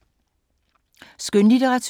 Skønlitteratur